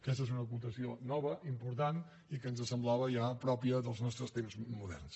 aquesta és una acotació nova important i que ens semblava ja pròpia dels nostres temps moderns